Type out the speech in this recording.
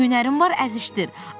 Hünərin var əzişdir.